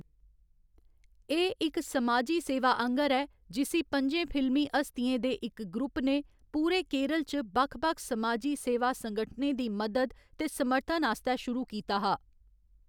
एह्‌‌ इक समाजी सेवा आंह्‌गर ऐ जिसी पं'जें फिल्मी हस्तियें दे इक ग्रुप ने पूरे केरल च बक्ख बक्ख समाजी सेवा संगठनें दी मदद ते समर्थन आस्तै शुरू कीता हा।